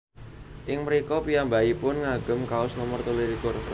Ing mrika piyambakipun ngagem kaos nomor telu likur